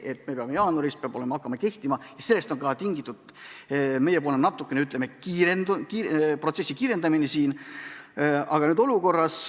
Tõsi, jaanuaris peaks see hakkama kehtima ja sellest on ka tingitud meiepoolne protsessi kiirendamine.